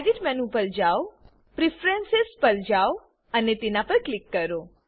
edit menu પર જાઓ preference પર જાઓ અને તેના પર ક્લિક કરો